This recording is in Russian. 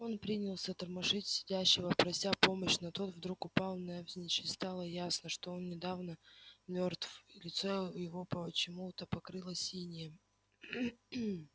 он принялся тормошить сидящего прося помочь но тот вдруг упал навзничь и стало ясно что он недавно мёртв и лицо его почему-то покрылось инеем